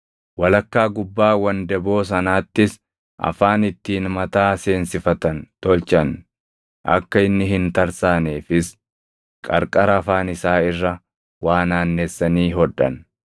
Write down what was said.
walakkaa gubbaa wandaboo sanaattis afaan ittiin mataa seensifatan tolchan; akka inni hin tarsaaneefis qarqara afaan isaa irra waa naannessanii hodhan.